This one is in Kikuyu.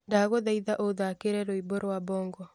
ndagũthaitha ũthaakĩra rwimbo rwa bongo